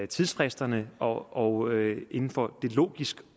tidsfristerne og inden for det logisk